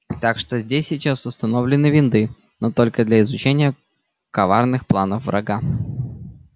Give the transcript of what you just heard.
так что здесь сейчас установлены винды но только для изучения коварных планов врага